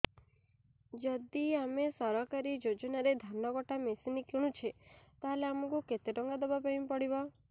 ଯଦି ଆମେ ସରକାରୀ ଯୋଜନାରେ ଧାନ କଟା ମେସିନ୍ କିଣୁଛେ ତାହାଲେ ଆମକୁ କେତେ ଟଙ୍କା ଦବାପାଇଁ ପଡିବ